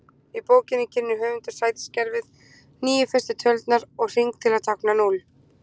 Í bókinni kynnir höfundur sætiskerfið, níu fyrstu tölurnar og hring til að tákna núll.